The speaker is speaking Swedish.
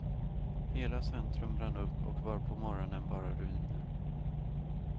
Hela centrum brann upp och var på morgonen bara ruiner.